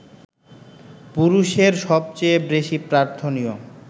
পুরুষের সবচেয়ে বেশি প্রার্থনীয়